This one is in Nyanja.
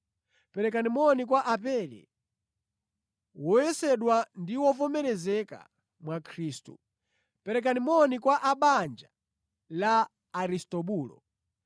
Perekani moni kwa Apele, woyesedwa ndi wovomerezeka mwa Khristu. Perekani moni kwa a mʼbanja la Aristobulo.